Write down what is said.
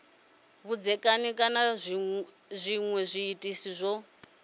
vhudzekani kana zwinwe zwiitisi zwo